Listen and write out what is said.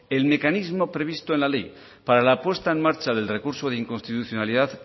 el mecanismo previsto en ley para la puesta en marcha del recurso de inconstitucionalidad